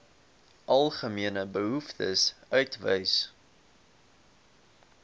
algemene behoeftes uitwys